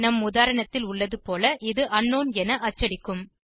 நம் உதாரணத்தில் உள்ளது போல இது அங்க்னவுன் என அச்சடிக்கும்